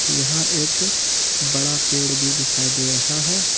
यहां एक बड़ा पेड़ भी दिखाई दे रहा है।